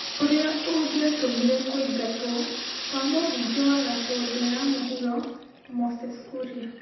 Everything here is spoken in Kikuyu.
ũrĩa ũngĩatũmire kũingatwo kwa mũmbunge wa Gatũndũ ya mũhuro Moses Kuria,